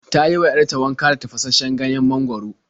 Ta yi wa 'yar ta wanka da tafashasshen ganyen mangwaro.